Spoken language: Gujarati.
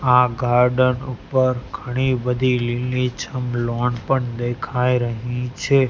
આ ગાર્ડન ઉપર ઘણી બધી લીલીછમ લૉન પણ દેખાય રહી છે.